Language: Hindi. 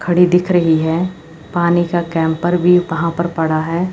खड़ी दिख रही है पानी का कैंपर भी वहां पर पड़ा है।